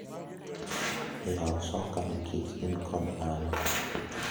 yao soka ni kech in kod an